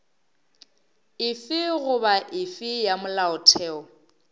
efe goba efe ya molaotheo